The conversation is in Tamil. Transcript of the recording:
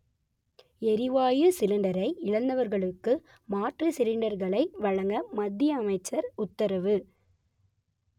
எரிவாயு சிலிண்டரை இழந்தவர்களுக்கு மாற்று சிலிண்டர்களை வழங்க மத்திய அமைச்சர் உத்தரவு